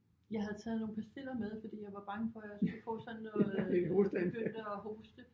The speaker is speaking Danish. Jeg havde taget nogle pastiller med fordi jeg var bange for jeg skulle få sådan noget begyndte at hoste